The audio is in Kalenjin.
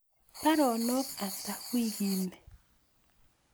Baronok ata wiikiit nii